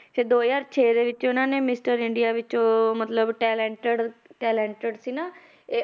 ਤੇ ਦੋ ਹਜ਼ਾਰ ਛੇ ਦੇ ਵਿੱਚ ਉਹਨਾਂ ਨੇ mister ਇੰਡੀਆ ਵਿੱਚ ਮਤਲਬ talented talented ਸੀ ਨਾ ਇਹ